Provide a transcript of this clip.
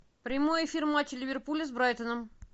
прямой эфир матча ливерпуля с брайтоном